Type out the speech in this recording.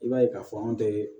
I b'a ye k'a fɔ anw tɛ